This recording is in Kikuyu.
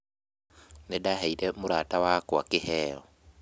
Nĩndaheire mũrata wakwa kĩheo